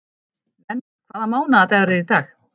Nenna, hvaða mánaðardagur er í dag?